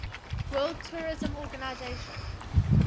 world tourism organization